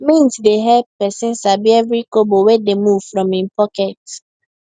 mint dey help person sabi every kobo wey dey move from him pocket